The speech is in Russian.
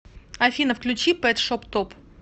афина включи пэт шоп топ